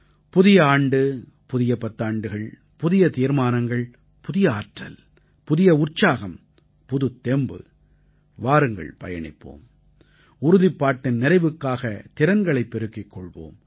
புதிய ஆண்டு புதிய பத்தாண்டுகள் புதிய தீர்மானங்கள் புதிய ஆற்றல் புதிய உற்சாகம் புதுத் தெம்பு வாருங்கள் பயணிப்போம் உறுதிப்பாட்டின் நிறைவுக்காக திறன்களை பெருக்கிக் கொள்வோம்